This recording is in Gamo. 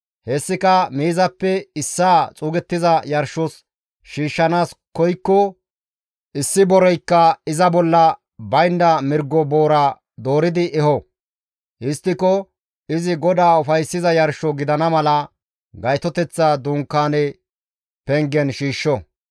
hessika miizappe issaa xuugettiza yarshos shiishshanaas koykko issi boreykka iza bolla baynda mirgo boora dooridi eho; histtiko izi GODAA ufayssiza yarsho gidana mala Gaytoteththa Dunkaaneza pengen shiishsho.